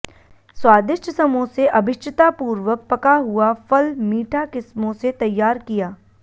स्वादिष्ट समोसे अभीष्टतापूर्वक पका हुआ फल मीठा किस्मों से तैयार किया